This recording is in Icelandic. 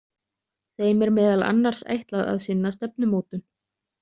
Þeim er meðal annars ætlað að sinna stefnumótun.